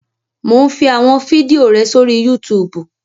Mò ún fi àwọn fídíò rẹ sórí Yútùùbù